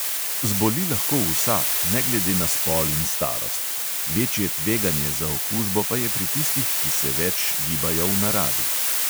Zboli lahko vsak, ne glede na spol in starost, večje tveganje za okužbo pa je pri tistih, ki se več gibajo v naravi.